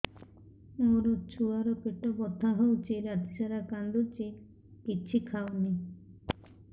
ମୋ ଛୁଆ ର ପେଟ ବଥା ହଉଚି ରାତିସାରା କାନ୍ଦୁଚି କିଛି ଖାଉନି